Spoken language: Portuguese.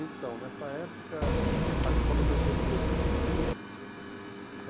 Então, nessa época, a escola oferecia três tipos de curso.